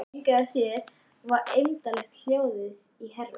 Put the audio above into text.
Engu að síður var eymdarlegt hljóðið í herra